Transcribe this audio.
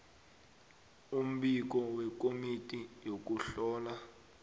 umbiko wekomiti yokuhlola